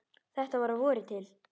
Þetta var að vori til.